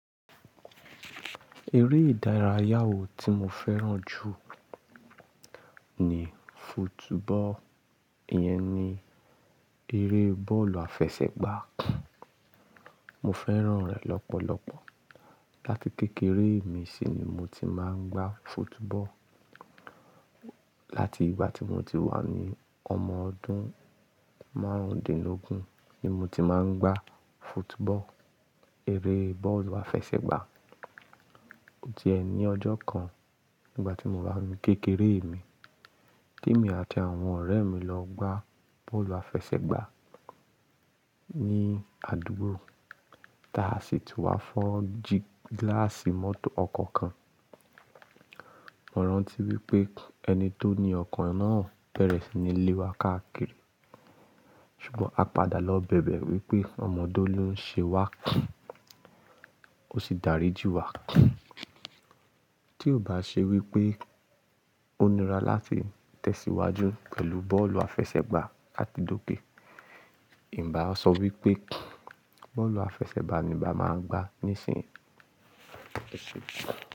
Eré ìdárayá wò tí mo fẹ́ràn jù ni football, iyẹn ni eré bọ́ọ̀lù àfẹsẹ̀gbá. Mo fẹ́ràn rẹ̀ lọ́pọ̀lọ́pọ̀. Láti kékeré mi sì ni mo ti máa ń gbá football. Láti ìgbà tí mo ti wà ní ọmọ ọdún márùndínlógún ni mo ti máa ń gbá football, eré bọ́ọ̀lù àfẹsẹ̀gbá. Ti ẹ ní ọjọ́ kan nígbà tí mo wà ní kékeré mi emi, Ti èmi àti àwọn ọ̀rẹ́ mi lọ gbá bọ́ọ̀lù àfẹsẹ̀gbá ní àdúgbò, táa sì tun wá fọ́ gíláàsì mọ́tò ọkọ̀ kan. Mo rántí wípé ẹni tó ni ọkọ̀ náà bẹ̀rẹ̀ sí ní lé wa káàkiri. Ṣùgbọ́n a padà lọ bẹ̀bẹ̀ wípé ọmọdé ló ń ṣe wá, ó sì dáríji wa. Tí ò bá ṣe wípé ó nira láti tẹ̀síwájú pẹ̀lú bọ́ọ̀lù àfẹsẹ̀gbá àti dòkè, nbá á sọ wípé bọ́ọ̀lù àfẹsẹ̀gbá ni n bá maa gba nísìn.